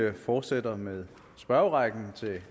vi fortsætter med spørgerrækken til